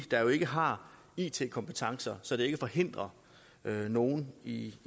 der jo ikke har it kompetencer så det ikke forhindrer nogen i